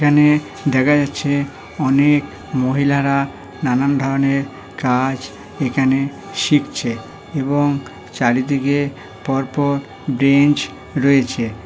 এখানে দেখা যাচ্ছে অনেক মহিলারা নানান ধরনের কাজ এখানে শিখছে এবং চারিদিকে পরপর বেঞ্চ রয়েছে।